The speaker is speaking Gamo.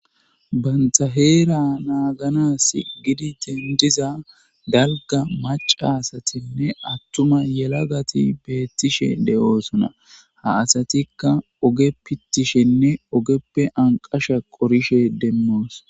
Banta heera nanganasi gidi dendiza dalga macca asatinne attuma yelagati beetishe de'osonna; ha asatikka oge pittishenne ogeppe anqasha qorishe demmos.